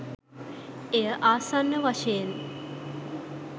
එය ආසන්න වශයෙන්